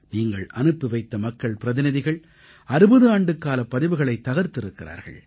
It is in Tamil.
நீங்கள் அனுப்பி வைத்த மக்கள் பிரதிநிதிகள் 60 ஆண்டுக்கால பதிவுகளை தகர்த்திருக்கிறார்கள்